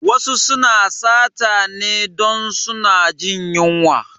Wasu suna sata ne dun suna jin yunwa